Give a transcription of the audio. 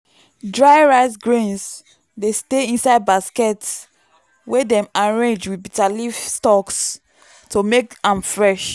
dry rice grains dey stay inside basket wey dem arrange with bitterleaf stalks to make am fresh.